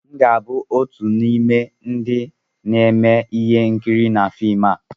M ga-abụ otu n'ime ndị na-eme ihe nkiri na fim a